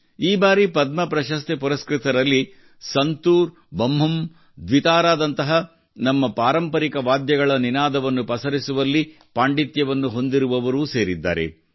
ಈ ಬಾರಿ ಪದ್ಮ ಪ್ರಶಸ್ತಿ ಪುರಸ್ಕೃತರಲ್ಲಿ ಸಂತೂರ್ ಬಮ್ಹುಮ್ ದ್ವಿತಾರಾದಂತಹ ನಮ್ಮ ಪಾರಂಪರಿಕ ವಾದ್ಯಗಳ ನಿನಾದವನ್ನು ಪಸರಿಸುವಲ್ಲಿ ಪಾಂಡಿತ್ಯವನ್ನು ಹೊಂದಿರುವವರೂ ಸೇರಿದ್ದಾರೆ